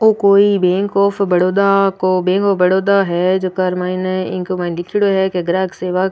ओ कोई bank of Baroda को बैंक ऑफ बड़ौदा है झक माइन इंग माइन लिखेड़ों है के ग्राहक सेवक --